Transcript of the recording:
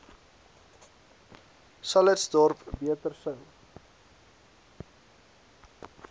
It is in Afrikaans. calitzdorp beter sou